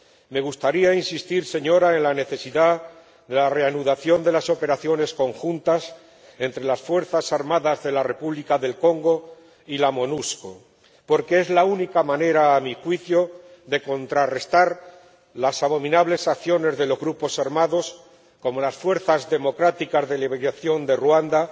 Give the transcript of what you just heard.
Me gustaría insistir, señora, en la necesidad de la reanudación de las operaciones conjuntas entre las fuerzas armadas de la República del Congo y la Monusco porque es la única manera, a mi juicio, de contrarrestar las abominables acciones de los grupos armados, como las Fuerzas Democráticas para la Liberación de Ruanda